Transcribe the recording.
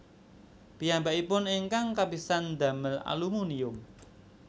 Piyambakipun ingkang kapisan ndamel aluminium